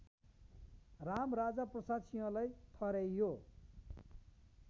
रामराजाप्रसाद सिंहलाई ठहर्‍याइयो